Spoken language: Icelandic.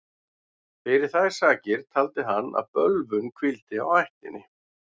Fyrir þær sakir taldi hann að bölvun hvíldi á ættinni.